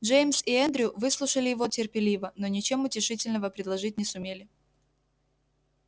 джеймс и эндрю выслушали его терпеливо но ничем утешительного предложить не сумели